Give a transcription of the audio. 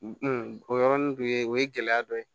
o yɔrɔnin dɔ ye o ye gɛlɛya dɔ ye